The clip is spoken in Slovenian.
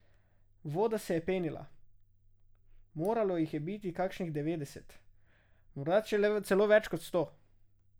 Voda se je penila, moralo jih je biti kakšnih devetdeset, morda celo več kot sto.